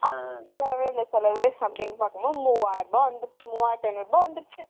சிலவு பாக்கும்போது மூணாயிரம் ருபாய் வந்துருச்சு மூணாயிரத்தி ஐந்நூறு ருபாய் வந்துருச்சு.